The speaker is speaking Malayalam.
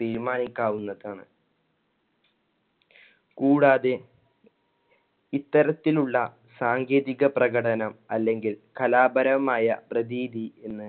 തീരുമാനിക്കാവുന്നതാണ്. കൂടാതെ ഇത്തരത്തിലുള്ള സാങ്കേതിക പ്രകടനം അല്ലെങ്കിൽ കലാപരമായ പ്രതീതി എന്ന്